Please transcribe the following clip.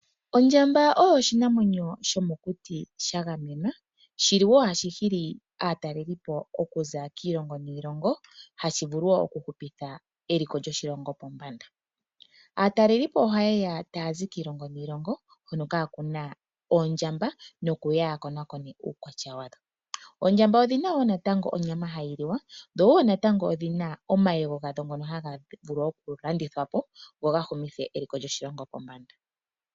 Ondjamba oyo oshinamwenyo shomokuti sha gamenwa shi li wo hashi hili aataleli po okuza kiilongo niilongo, hashi vulu wo okuhupitha eliko lyoshilongo pombanda. Aatalelipo ohaye ga taya zi kiilongo niilongo hono ka kuna oondjamba nokuya ya konakone uukwatya wadho. Oondjamba odhi na wo natango onyama hayi li wa, dho wo natango odhi na omayego gadho ngono haga vulu okulandithwa po go ga humithe eliko lyoshilongo pombanda.